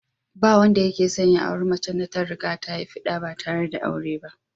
Ba wanda yake son ya auri macen da ta riga ta haifi ɗa ba tare da aure ba